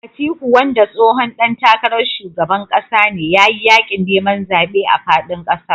Atiku wanda tsohon ɗan takarar shugaban ƙasa ne ya yi yaƙin neman zaɓe a faɗin ƙasar